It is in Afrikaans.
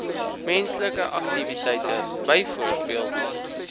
menslike aktiwiteite byvoorbeeld